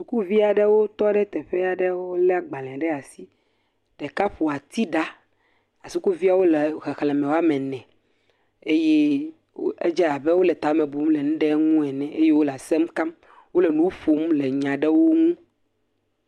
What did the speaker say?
Sukuvi aɖewo tɔ ɖe teƒe aɖe lé agbalẽ ɖe asi. Ɖeka ƒo atiɖa. Sukuviawo le xexle ame ene eye edze abe wole tame bum le nu ɖe ŋu ene eye wole asem kam. Wole nu ƒom le nya aɖewo ŋu.